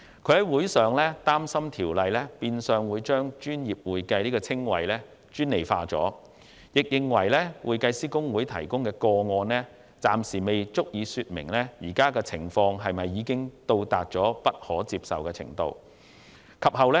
他擔心，《條例草案》變相將"專業會計"這個稱謂專利化，並認為香港會計師公會提供的個案，暫時不足以證明目前的情況已達到不可接受的程度。